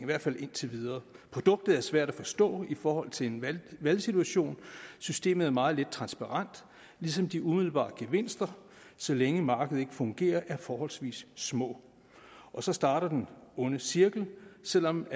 hvert fald indtil videre produktet er svært at forstå i forhold til en valgsituation systemet er meget lidt transparent ligesom de umiddelbare gevinster så længe markedet fungerer er forholdsvis små og så starter den onde cirkel selv om